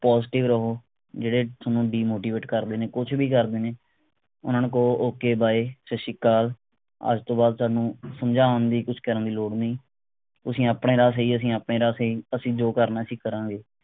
positive ਰਹੋ ਜਿਹੜੇ ਥੋਨੂੰ demotivate ਕਰ ਰਹੇ ਨੇ ਕੁਛ ਵੀ ਕਰ ਰਹੇ ਨੇ ਓਹਨਾ ਨੂੰ ਕਹੋ okay bye ਸੱਤ ਸ਼੍ਰੀ ਅਕਾਲ ਅੱਜ ਤੋਂ ਬਾਅਦ ਥੋਨੂੰ ਸਮਝਾਉਣ ਦੀ ਕੁਛ ਕਰਨ ਦੀ ਲੋੜ ਨਹੀਂ ਤੁਸੀਂ ਆਪਣੇ ਰਾਹ ਸਹੀ ਮੈਂ ਆਪਣੇ ਰਾਹ ਸਹੀ ਅਸੀਂ ਜੋ ਕਰਨੇ ਅਸੀਂ ਕਰਾਂਗੇ